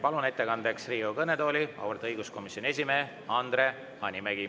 Palun ettekandeks Riigikogu kõnetooli auväärt õiguskomisjoni esimehe Andre Hanimägi.